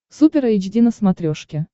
супер эйч ди на смотрешке